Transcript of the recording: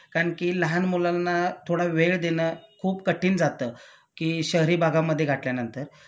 कारण कि लहान मुलांना थोडा वेळ देणं खूप कठीण जातं कि शहरी भागामध्ये घातल्यानंतर